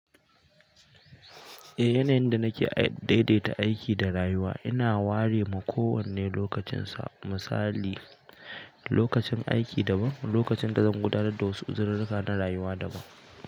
Eh, yanayin da nake daidaita aiki da rayuwa ina ware ma kowanne lokacinsa. Misali, lokacin aiki daban, lokacin da zan gudanar da wasu uzurirrika na rayuwa daban.